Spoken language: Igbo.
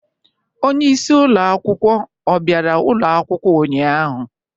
Onye isi ụlọ akwụkwọ ọ bịara ụlọ akwụkwọ ụnyaahụ?